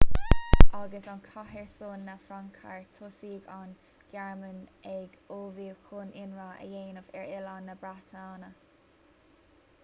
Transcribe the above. agus an cath ar son na fraince thart thosaigh an ghearmáin ag ullmhú chun ionradh a dhéanamh ar oileán na breataine